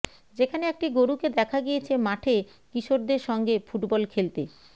যেখানে একটি গরুকে দেখা গিয়েছে মাঠে কিশোরদের সঙ্গে ফুটবল খেলতে